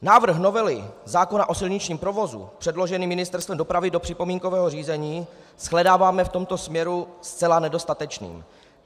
Návrh novely zákona o silničním provozu předložený Ministerstvem dopravy do připomínkového řízení shledáváme v tomto směru zcela nedostatečný.